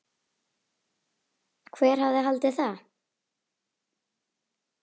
Hver hefði haldið það?